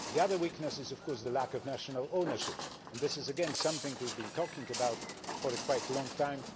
The other weakness is the lack of national ownership, and this is again something we have been talking about for quite a long time.